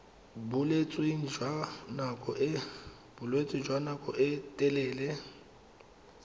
bolwetse jwa nako e telele